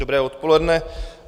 Dobré odpoledne.